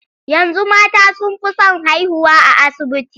Yanzu mata sun fi son haihuwa a asibiti.